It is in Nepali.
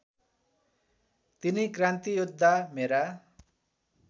तिनै क्रान्तियोद्धा मेरा